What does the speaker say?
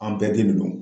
An bɛɛ denw don